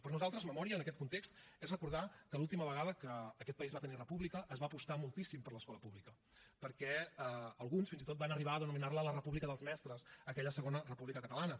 per nosaltres memòria en aquest context és recordar que l’última vegada que aquest país va tenir república es va apostar moltíssim per l’escola pública perquè alguns fins i tot van arribar a denominar la la república dels mestres aquella segona república catalana